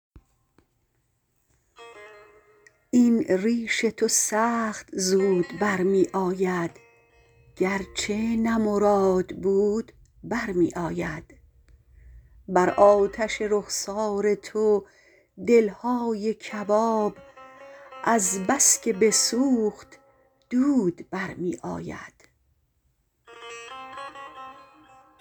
این ریش تو سخت زود برمی آید گرچه نه مراد بود برمی آید بر آتش رخسار تو دلهای کباب از بس که بسوخت دود برمی آید